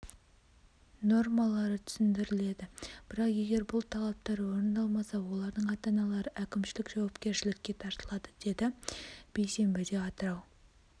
нормалары түсіндіріледі бірақ егер бұл талаптар орындалмаса олардың ата-аналары әкімшілік жауапкершілікке тартылады деді бейсенбіде атырау